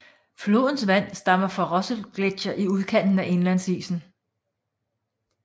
Flodens vand stammer fra Russell Gletsjer i udkanten af indlandsisen